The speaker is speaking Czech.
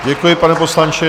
Děkuji, pane poslanče.